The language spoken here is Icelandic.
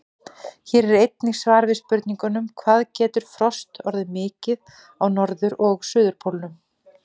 Hér er einnig svar við spurningunum: Hvað getur frost orðið mikið á norður- og suðurpólnum?